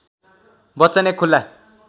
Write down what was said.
बच्चन एक खुला